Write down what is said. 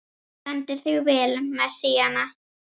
Þú stendur þig vel, Messíana!